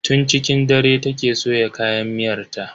Tun cikin dare take soya kayan miyar ta.